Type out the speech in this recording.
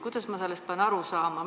Kuidas ma sellest pean aru saama?